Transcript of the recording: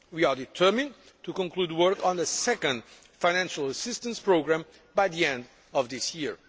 We are determined to conclude work on a second financial assistance programme by the end of this year.